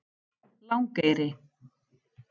Langeyri